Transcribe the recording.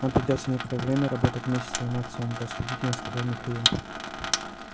нам придётся некоторое время работать вместе с твоим отцом рассудительно сказал михаил